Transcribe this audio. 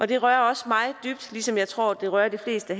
det rører også mig dybt ligesom jeg tror det rører de fleste